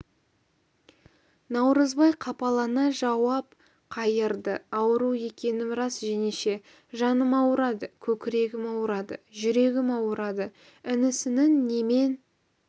наурызбай қапалана жауап қайырды ауру екенім рас жеңеше жаным ауырады көкірегім ауырады жүрегім ауырады інісінің немен